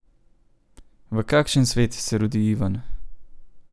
V kakšen svet se rodi Ivan?